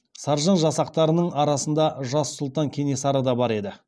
саржан жасақтарының арасында жас сұлтан кенесары да бар еді